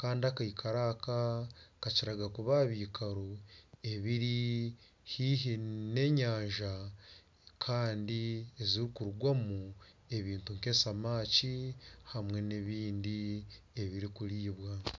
kandi akaikaro aka kakira kuba aha bikaro ebiri haihi n'enyanja kandi ezirikurugwamu ebintu nk'eshamaki hamwe n'ebindi ebirikuriibwa